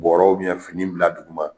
bɔrɔw fini bila dugu ma.